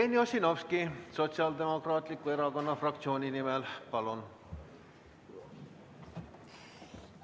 Jevgeni Ossinovski Sotsiaaldemokraatliku Erakonna fraktsiooni nimel, palun!